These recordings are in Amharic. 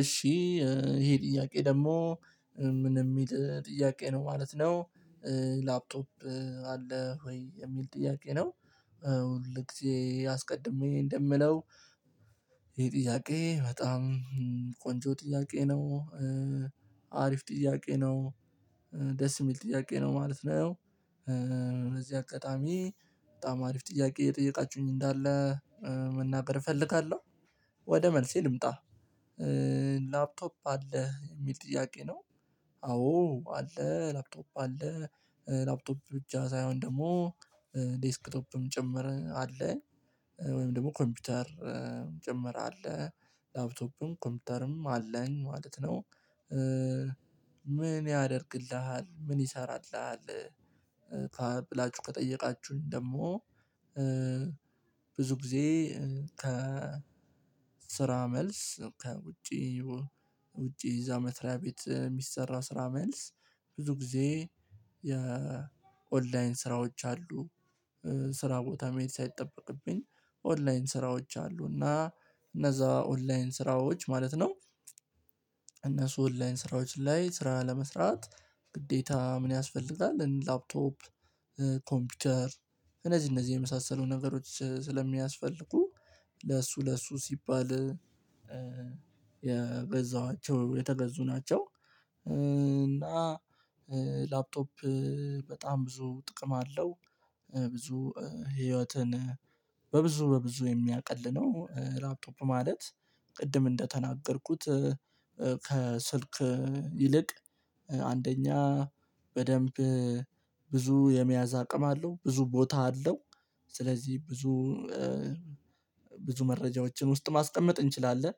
እሺ ይሄ ጥያቄ ደግሞ ምን የሚል ጥያቄ ነው ማለት ነው? ላፕቶፕ አለህ ወይ የሚል ጥያቄ ነው? ሁል ጊዜ አስቀድሜ እንደምለው። ይሄ ጥያቄ በጣም ቆንጆ ጥያቄ ነው። አሪፍ ጥያቄ ነው። ደስ የሚል ጥያቄ ነው ማለት ነው። እነዚህ አቅጣሚ በጣም አሪፍ ጥያቄ የጠየቃችሁኝ እንዳለ መናገር እፈልጋለሁ። ወደ መልሴ ልምጣ። ላፕቶፕ አለ የሚል ጥያቄ ነው? አዎ አለ ላፕቶፕ አለ። ላፕቶፕ ብቻ ሳይሆን ደግሞ ዴስክቶፕም ጭምር አለ። ወይም ደግሞ ኮምፒውተር ጭምር አለ። ላፕቶፕም ኮምፒውተርም አለኝ ማለት ነው። ምን ያደርግልሃል ምን ይሰራልሃል? ብላችሁ ከጠየቃችሁኝ ደግሞ። ብዙ ጊዜ ከ ስራ መልስ ውጪ ውጪ እዛ መትሪያ ቤት የሚሰራ ስራ መልስ ብዙ ጊዜ የኦንላይን ስራዎች አሉ። ስራ ቦታ መሄድ ሳይጠበቅብኝ ኦንላይን ስራዎች አሉና እነዛ ኦንላይን ስራዎች ማለት ነው። እነሱ ኦንላይን ስራዎች ላይ ስራ ለመስራት ግዴታ ምን ያስፈልጋል ላፕቶፕ? ኮምፒውተር እነዚህ እነዚህ የመሳሰሉ ነገሮች ስለሚያስፈልጉ ለእሱ ለእሱ ሲባል። የተገዙ ናቸው። እና ላፕቶፕ በጣም ብዙ ጥቅም አለው። ብዙ ህይወትን በብዙ በብዙ የሚያቅልነው ላፕቶፕ ማለት ቅድም እንደተናገርኩት። ከስልክ ይልቅ አንደኛ በደንብ ብዙ የመያዝ አቅም አለው ብዙ ቦታ አለው። ስለዚህ ብዙ ብዙ መረጃዎችን ውስጥ ማስቀመጥ እንችላለን።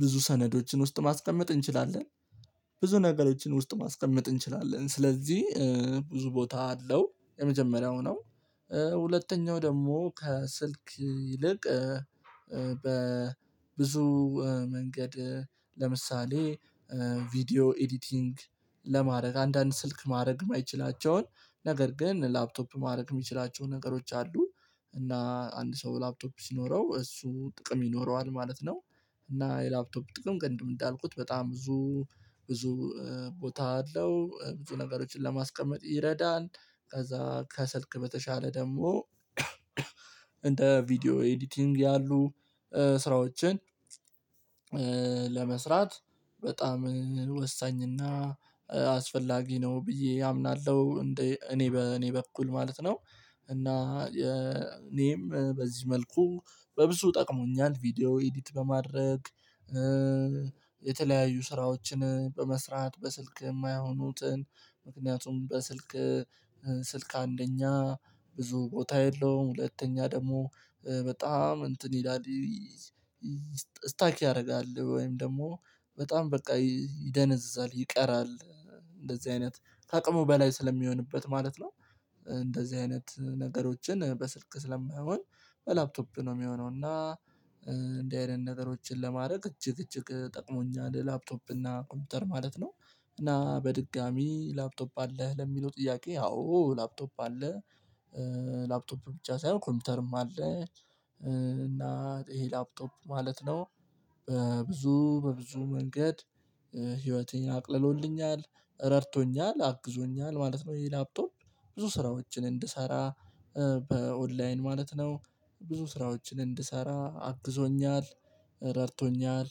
ብዙ ሰነዶችን ውስጥ ማስቀመጥ እንችላለን። ብዙ ነገሮችን ውስጥ ማስቀመጥ እንችላለን ስለዚህ ብዙ ቦታ አለው የመጀመሪያው ነው። ሁለተኛው ደግሞ ከስልክ ይልቅ በብዙ መንገድ ለምሳሌ ቪዲዮ ኤዲቲንግ ለማድረግ አንዳንድ ስልክ ማድረግ የማይችላቸውን ነገር ግን ላፕቶፕ ማድረግ የሚችላቸው ነገሮች አሉ። እና አንድ ሰው ላፕቶፕ ሲኖረው እሱ ጥቅም ይኖረዋል ማለት ነው። እና የላፕቶፕ ጥቅም ቅድም እንዳልኩት በጣም ብዙ ብዙ ቦታ አለው ብዙ ነገሮችን ለማስቀመጥ ይረዳል። ከዛ ከሰልክ በተሻለ ደግሞ እንደ ቪዲዮ ኤዲቲንግ ያሉ ስራዎችን ለመስራት በጣም ወሳኝና አስፈላጊ ነው ብዬ አምናለሁ። እንዴ እኔ በእኔ በኩል ማለት ነው። እና እኔም በዚህ መልኩ በብዙ ጠቅሞኛል ቪዲዮ ኤዲት በማድረግ። የተለያዩ ስራዎችን በመስራት በስልክ የማይሆኑትን ምክንያቱም በስልክ ስልክ አንደኛ ብዙ ቦታ የለውም ሁለተኛ ደግሞ በጣም እንትን ይላል። ስታክ ያደርጋል ወይም ደግሞ በጣም በቃ ይደነዝዛል ይቀራል። እንደዚህ አይነት ከአቅሙ በላይ ስለሚሆንበት ማለት ነው። እንደዚህ አይነት ነገሮችን በስልክ ስለማይሆን በላፕቶፕ ነው የሚሆነው እና። እንደዚህ አይነት ነገሮችን ለማድረግ እጅግ እጅግ ጠቅሞኛል ላፕቶፕ እና ኮምፒውተር ማለት ነው። እና በድጋሚ ላፕቶፕ አለህ ለሚለው ጥያቄ ያው ላፕቶፕ አለ። ላፕቶፕ ብቻ ሳይሆን ኮምፒውተርም አለ። እና ይሄ ላፕቶፕ ማለት ነው። በብዙ በብዙ መንገድ ህይወትን አቅልሎልኛል ረድቶኛል አግዞኛል ማለት ነው። በላፕቶፕ ብዙ ስራዎችን እንድሰራ በኦንላይን ማለት ነው ብዙ ስራዎችን እንድሰራ አግዞኛል ረድቶኛል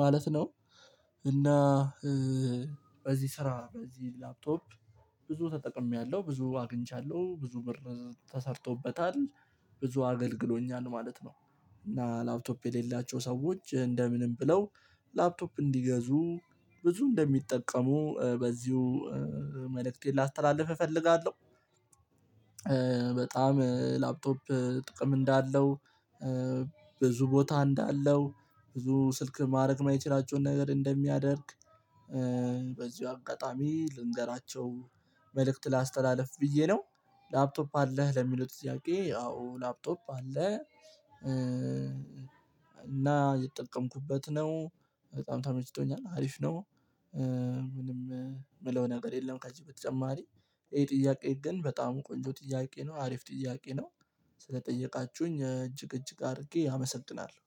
ማለት ነው። እና በዚህ ስራ በዚህ ላፕቶፕ ብዙ ተጠቅሜያለሁ ብዙ አግኝቻለሁ ብዙ ብር ተሰርቶበታል ብዙ አገልግሎኛል ማለት ነው። እና ላፕቶፕ የሌላቸው ሰዎች እንደምንም ብለው ላፕቶፕ እንዲገዙ ብዙ እንደሚጠቀሙ በዚሁ መልእክት ላስተላልፍ እፈልጋለሁ። በጣም ላፕቶፕ ጥቅም እንዳለው ብዙ ቦታ እንዳለው ብዙ ስልክ ማድረግ የማይችላቸውን ነገር እንደሚያደርግ በዚሁ አጋጣሚ ልንገራቸው መልእክት ላስተላልፍ ብዬ ነው ላፕቶፕ አለህ ለሚሉት ዝያቄ አዎ ላፕቶፕ አለ። እና የጠቀምኩበት ነው። በጣም ታመችቶኛል አሪፍ ነው። ምንም የምለው ነገር የለም ከቼም በተጨማሪ ይሄ ጥያቄ ግን በጣም ቆንጆ ጥያቄ ነው አሪፍ ጥያቄ ነው። ስለጠየቃችሁኝ እጅግ እጅግ አድርጌ አመሰጥናለሁ።